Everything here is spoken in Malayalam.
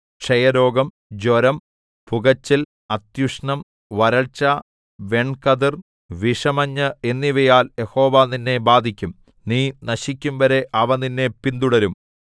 ക്ഷയരോഗം ജ്വരം പുകച്ചൽ അത്യുഷ്ണം വരൾച്ച വെൺകതിർ വിഷമഞ്ഞ് എന്നിവയാൽ യഹോവ നിന്നെ ബാധിക്കും നീ നശിക്കുംവരെ അവ നിന്നെ പിന്തുടരും